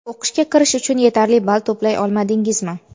O‘qishga kirish uchun yetarli ball to‘play olmadingizmi?.